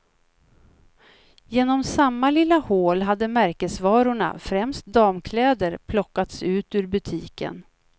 Genom samma lilla hål hade märkesvarorna, främst damkläder, plockats ut ur butiken.